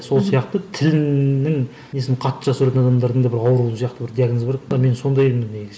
сол сияқты тілінің несін қатты жақсы көретін адамдардың да бір ауру сияқты бір диагнозы бар екен ғой мен сондаймын негізі